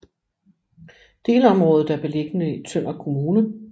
Delområdet er beliggende i Tønder Kommune